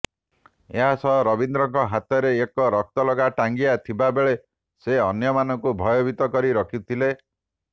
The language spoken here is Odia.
ଏଥିସହ ରବୀନ୍ଦ୍ରଙ୍କ ହାତରେ ଏକ ରକ୍ତ ଲଗା ଟାଙ୍ଗିଆ ଥିବା ବେଳେ ସେ ଅନ୍ୟମାନଙ୍କୁ ଭୟଭୀତ କରି ରଖିଥିଲେ